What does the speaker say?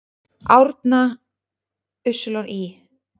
Árna Ý.